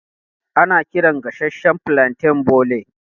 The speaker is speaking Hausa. Ana kiran gasashshan flanten bole.